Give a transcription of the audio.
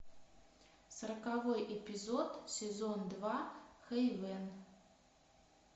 сороковой эпизод сезон два хейвен